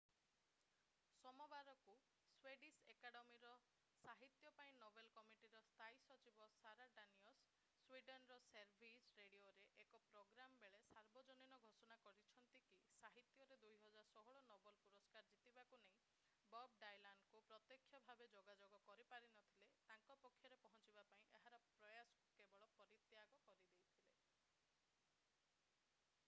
ସୋମବାରକୁ Swedish ଏକାଡେମୀର ସାହିତ୍ୟ ପାଇଁ ନୋବେଲ କମିଟୀର ସ୍ଥାୟୀ ସଚିବ ସାରା ଡାନିୟସ୍ ସ୍ୱିଡେନ୍‌ର ସେଭେରିଜ୍ ରେଡିଓରେ ଏକ ପ୍ରୋଗ୍ରାମ୍‍ ବେଳେ ସାର୍ବଜନୀନ ଘୋଷଣା କରିଛନ୍ତି କି ସାହିତ୍ୟରେ 2016 ନୋବେଲ ପୁରସ୍କାର ଜିତିବାକୁ ନେଇ ବବ୍ ଡାଇଲାନ୍‌ଙ୍କୁ ପ୍ରତ୍ୟକ୍ଷ ଭାବେ ଯୋଗାଯୋଗ କରିପାରିନଥିଲେ ତାଙ୍କ ପାଖରେ ପହଞ୍ଚିବା ପାଇଁ ଏହାର ପ୍ରୟାସକୁ ସେ ପରିତ୍ୟାଗ କରିଦେଇଥିଲେ।